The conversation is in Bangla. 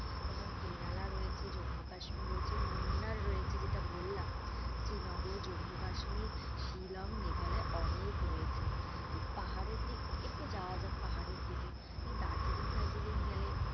তোমার কি কেহালা রয়েছে জম্মু-কাশ্মীর রয়েছে, মুন্নার রয়েছে যেটা বললাম শ্রী নগর, জম্মু কাশ্মীর, শিলং, মেঘালয় অনেক রয়েছে তো পাহাড়ের দিক তা একটু যাওয়া যাক পাহাড়ে দিকে দার্জিলিং টার্জিলিং গেলে,